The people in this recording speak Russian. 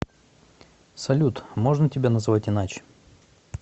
салют можно тебя называть иначе